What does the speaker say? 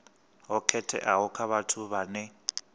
ho khetheaho kha vhathu vhane